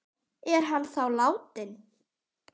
Er hann þá látinn?